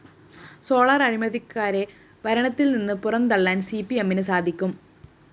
solar അഴിമതിക്കാരെ ഭരണത്തിൽനിന്ന് പുറന്തള്ളാൻ സിപിഎമ്മിന് സാധിക്കും